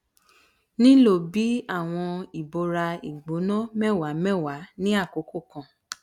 nilo bi awọn ibora igbona mẹwa mẹwa ni akoko kan